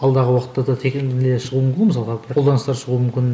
алдағы уақытта да шығуы мүмкін ғой мысалға қолданыстар шығуы мүмкін